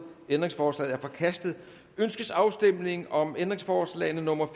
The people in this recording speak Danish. ændringsforslaget er forkastet ønskes afstemning om ændringsforslag nummer